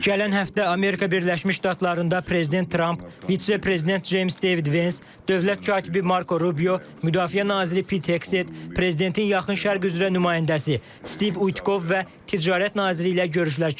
Gələn həftə Amerika Birləşmiş Ştatlarında prezident Tramp, vitse-prezident Ceyms Devid Vans, Dövlət katibi Marko Rubio, Müdafiə naziri Piteksted, prezidentin Yaxın Şərq üzrə nümayəndəsi Stiv Uytkov və ticarət nazirliyi ilə görüşlər keçirəcəm.